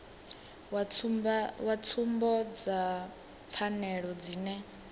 wa tsumbo dza pfanelo dzine